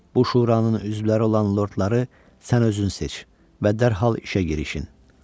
Bu Şuranın üzvləri olan lordları sən özün seç və dərhal işə girişin.